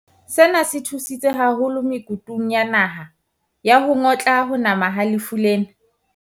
Sena se thusitse haholo me kutung ya naha ya ho ngotla ho nama ha lefu lena.